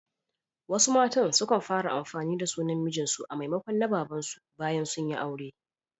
Wasu matan sukan fara amfani da sunan mijin su a maimakon na baban su bayan aure.